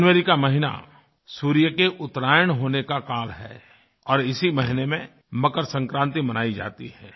जनवरी का महीना सूर्य के उत्तरायण होने का काल है और इसी महीने में मकरसंक्रांति मनायी जाती है